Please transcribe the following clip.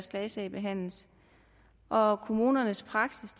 klagesag behandles og kommunernes praksis